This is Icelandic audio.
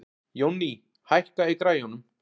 Jónný, hækkaðu í græjunum.